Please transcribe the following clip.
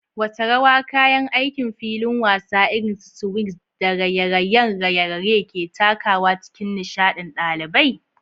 Wace rawa kayan aikin filin wasa irin su swings da raye-rayen raye-raye ke takawa a cikin nishaɗin ɗalibai?